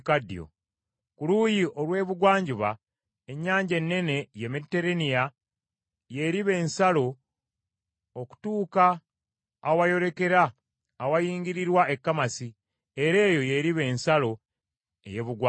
Ku luuyi olw’ebugwanjuba, Ennyanja Ennene, ye Meditereeniya y’eriba ensalo okutuuka awayolekera awayingirirwa e Kamasi, era eyo y’eriba ensalo ey’Ebugwanjuba.